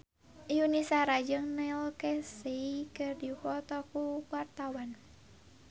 Yuni Shara jeung Neil Casey keur dipoto ku wartawan